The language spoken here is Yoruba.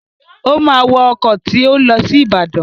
Ó máa wọ ọkọ̀ tó ń lọ sí Ìbàdàn.